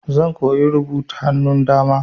Zan koya rubutu da hannun dama.